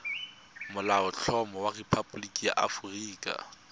molaotlhomo wa rephaboliki ya aforika